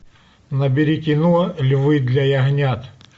набери кино львы для ягнят